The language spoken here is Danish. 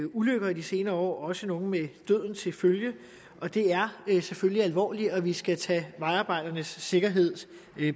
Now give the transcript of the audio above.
ulykker i de senere år også nogle med døden til følge og det er selvfølgelig alvorligt og vi skal tage vejarbejdernes sikkerhed